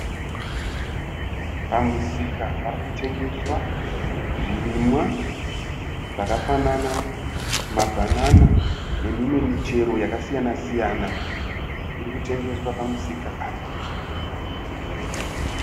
Pamusika parikutengeswa zvirimwa zvakafanana nama banana nemimwe michero yakasiyana siyana irikutengeswa pamusika apa.